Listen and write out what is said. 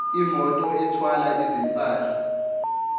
imoto ethwala izimpahla